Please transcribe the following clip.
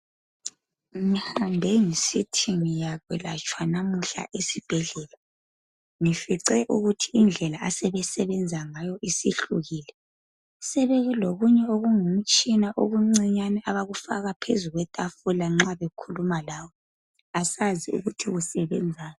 Ngihambe ngisithi nzoyelatshwa namuhla esibhedlela ngifice ukuthi indlela asebe sebenza ngayo isihlukile sebe lokunye okungumtshina okuncinyane abakufaka phezulu kwetafula nxa bekhuluma lawe asazi ukuthi kusebenzani